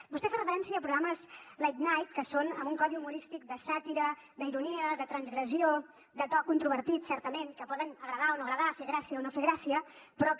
vostè fa referència a programes late night que són en un codi humorístic de sàtira d’ironia de transgressió de to controvertit certament que poden agradar o no agradar fer gràcia o no fer gràcia però que